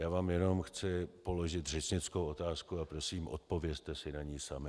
Já vám jen chci položit řečnickou otázku a prosím, odpovězte si na ni sami.